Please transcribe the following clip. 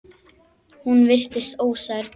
Hún virtist ósærð.